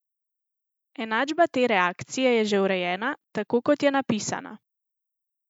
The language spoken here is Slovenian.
Enačba te reakcije je že urejena, tako kot je napisana.